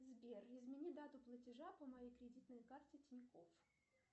сбер измени дату платежа по моей кредитной карте тинькофф